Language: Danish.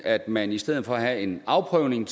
man i stedet for at have en afprøvning